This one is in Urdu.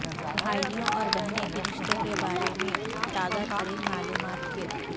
بھائیوں اور بہنوں کے رشتے کے بارے میں تازہ ترین معلومات کے